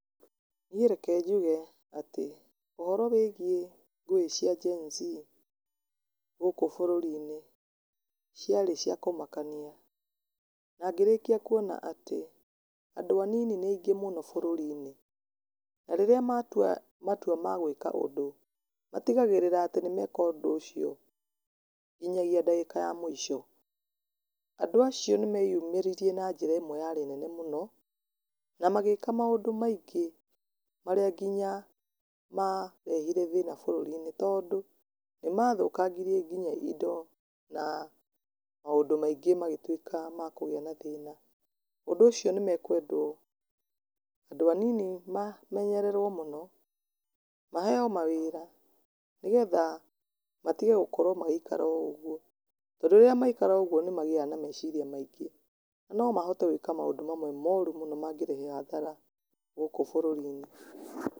Niĩ reke njuge atĩ, ũhoro wĩgiĩ ngũĩ cia Gen-Z gũkũ bũrũri-inĩ ciarĩ cia kũmakania, na ngĩrĩkia kuona atĩ andũ anini nĩ aingĩ mũno bũrũri-inĩ, na rĩrĩa matua matua ma gwĩka ũndũ, matigagĩrĩra nĩmeka ũndũ ũcio nginyagia ndagĩka ya mũico. Andũ acio nĩ meyumĩririe na njĩra ĩmwe yarĩ nene mũno, na magĩka maũndũ maingĩ marĩa nginya marehire thĩna bũrũri-inĩ, tondũ nĩ mathũkangirie nginya indo na maũndũ maingĩ magĩtuĩka ma kũgĩa na thĩna. Ũndũ ũcio nĩ makwendwo andũ anini mamenyererwo mũno, maheo mawĩra nĩgetha matige gũkorwo magĩikara oũguo, tondũ rĩrĩa maraikara ũguo nĩ magĩaga na meciria maingĩ , na mahote gwĩka maũndũ mamwe moru mũno mangĩrehe hathara gũkũ bũrũri-inĩ.